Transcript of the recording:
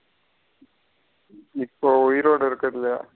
இப்போ உய்ரோட இருக்குரதுலய.